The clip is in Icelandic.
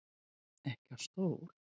Ekki á stól.